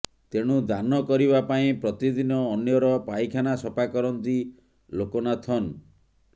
ତେଣୁ ଦାନ କରିବା ପାଇଁ ପ୍ରତିଦିନ ଅନ୍ୟର ପାଇଖାନା ସଫା କରନ୍ତି ଲୋକନାଥନ୍